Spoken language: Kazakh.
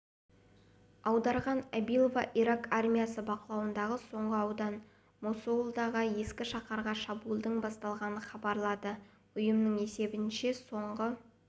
аударған абилова ирак армиясы бақылауындағы соңғы аудан мосулдағы ескі шаһарға шабуылдың басталғанын хабарлады ұйымның есебінше соңғы